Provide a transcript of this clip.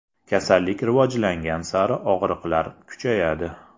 Kasallik rivojlangan sari og‘riqlar kuchayadi.